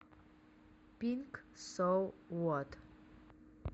пинк со вот